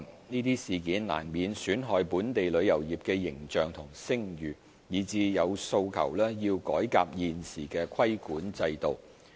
這些事件難免損害本港旅遊業的形象和聲譽，以致有訴求要改革現時的規管制度。